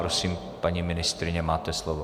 Prosím, paní ministryně, máte slovo.